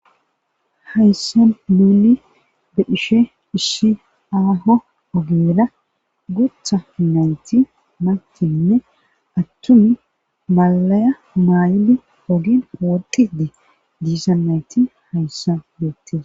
hayssan muuli bedhishe issi aaho ogeera gutha nayti mantinne attun malaya maay7ine ogin hoodidi diisa nayti hayssa beettes